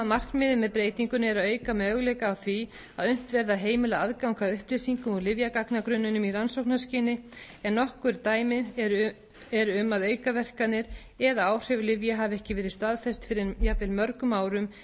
markmiðið með breytingunni er að auka möguleika á því að unnt verði að heimila aðgang að upplýsingum úr lyfjagagnagrunninum í rannsóknarskyni en nokkur dæmi eru um að aukaverkanir eða áhrif lyfja hafa ekki verið staðfest fyrr en jafnvel mörgum árum